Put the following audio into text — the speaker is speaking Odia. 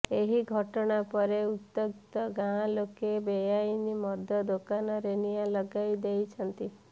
ଏହି ଘଟଣା ପରେ ଉତ୍ତ୍ୟକ୍ତ ଗାଁ ଲୋକେ ବେଆଇନ ମଦ ଦୋକାନରେ ନିଆଁ ଲଗାଇଦେଇଛନ୍ତି